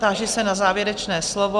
Táži se na závěrečné slovo?